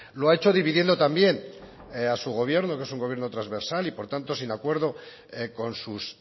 lo ha hecho dividiendo también a su gobierno que es un gobierno trasversal y por tanto sin acuerdo con sus